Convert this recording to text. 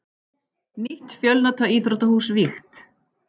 Nýtt fjölnota íþróttahús vígt